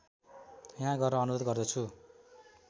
यहाँ गर्न अनुरोध गर्दछु